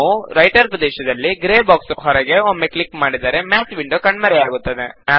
ನಾವು ರೈಟರ್ ಪ್ರದೇಶದಲ್ಲಿ grey box ಹೊರಗೆ ಒಮ್ಮೆ ಕ್ಲಿಕ್ ಮಾಡಿದರೆ ಮ್ಯಾತ್ ವಿಂಡೋ ಕಣ್ಮರೆಯಾಗುತ್ತದೆ